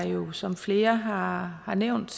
jo som flere har har nævnt